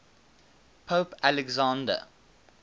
pope alexander